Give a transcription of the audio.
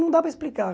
Não dá para explicar.